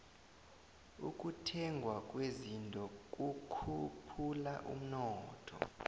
ukuthengwa kwezinto kukhuphula umnotho